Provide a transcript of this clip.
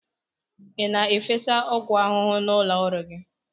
Ị na-efesa ọgwụ ahụhụ n'ụlọ ọrụ gị?